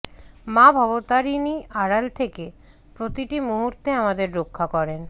মা ভবতারিণী আড়ালে থেকে প্রতিটি মুহূর্তে আমাদের রক্ষা করেন